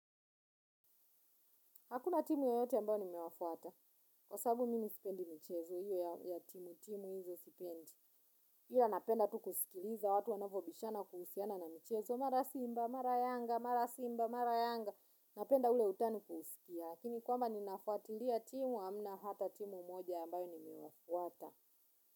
Hakuna timu yoyote ambayo nimewafuata. Kwa sababu mimi sipendi mchezo hiyo ya timu timu hizo sipendi. Ila napenda tu kusikiliza watu wanavyo bishana kuhusiana na michezo. Mara simba, mara yanga, mara simba, mara yanga. Napenda ule utani kuusikia. Lakini kwamba ninafuatilia timu hamna hata timu moja ambayo nimewafuata.